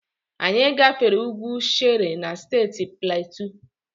Anyị gafere ugwu Shere na Steeti Platu.